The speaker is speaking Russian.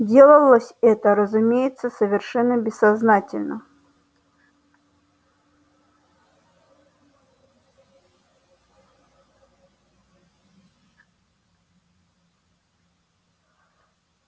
делалось это разумеется совершенно бессознательно